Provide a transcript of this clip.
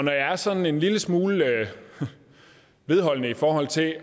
jeg er sådan en lille smule vedholdende i forhold til at